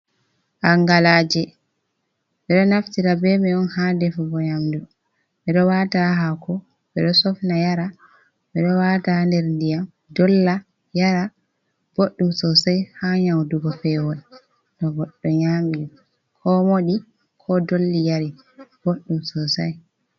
Angalaje, ɓeɗo naftira bemai on ha defugo nyamdu, ɓeɗo wata hako, ɓeɗo sofna yara, ɓeɗo wata nder ndiyam dolla yara boɗɗum sosai ha nyaudugo pewol to goɗɗo nyami ko moɗi ko dolli yari boɗɗum sosai.